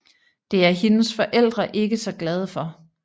Det er hendes forældre ikke så glade for